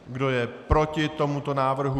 Kdo je proti tomuto návrhu?